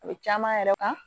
A bɛ caman yɛrɛ kan